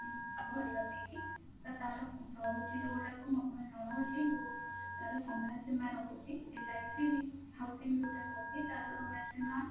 କରିବା ପାଇଁକି ତ ତାର ରହୁଛି ଯୋଉଗୁଡାକ ମୁଁ ଆପଣଙ୍କୁ ଜଣଉଛି ତାର ସମୟସୀମା ରହୁଛି LIC housing ଯୋଉଟା ରହୁଛି ତାର ସମୟସୀମା